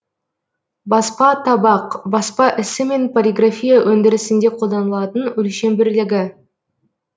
баспа табақ баспа ісі мен полиграфия өндірісінде қолданылатын өлшем бірлігі